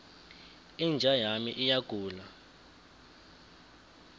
inja yami iyagula